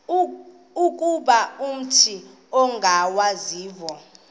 ukuba umut ongawazivo